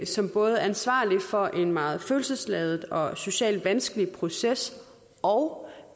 som både ansvarlig for en meget følelsesladet og socialt vanskelig proces og